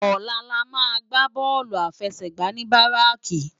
Òlà lámà gbá bòlú áláfèsègbá ni báráki